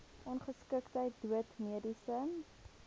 ongeskiktheid dood mediese